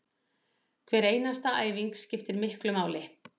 Hver einasta æfing skiptir miklu máli